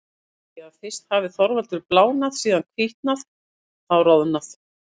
Þeir segja að fyrst hafi Þorvaldur blánað, síðan hvítnað, þá roðnað.